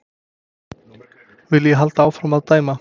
Vil ég halda áfram að dæma?